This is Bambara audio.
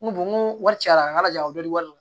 N ko n ko wari cayara n ka jago dɔ de don